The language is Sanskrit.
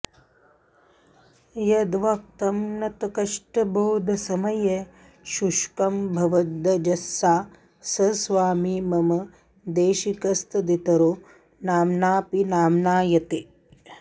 यद्वक्त्रं नतकष्टबोधसमये शुष्कं भवेदञ्जसा स स्वामी मम देशिकस्तदितरो नाम्नाऽपि नाम्नायते